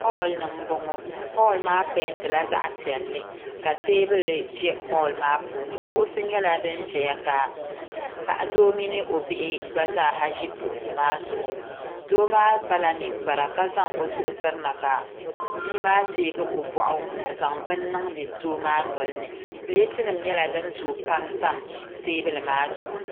Holl ni n boŋo holl maa peentila zaɣ piɛlli ka teebuli ʒɛ holl maa puuni kuɣusi nyɛla din ʒɛya ka doo mini o bihi gba zaa ha ʒi kuɣusi maa zuɣu Doo maa kpala ninkpara ka zaŋ o zuɣu tirina ka bia maa teegi o boɣu n zaŋ bini niŋdi doo maa nolini pileeti nim nyɛla din zooi pam tam teebuli maa zuɣu